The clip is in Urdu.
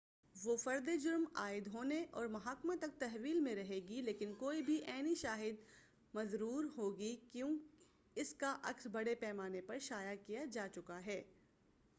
وہ فردِ جرم عاید ہونے اور محاکمہ تک تحویل میں رہے گی لیکن کوئی بھی عینی شہادت مُزوّر ہو گی کیوں اس کا عکس بڑے پیمانہ پر شایع کیا جا چکا ہے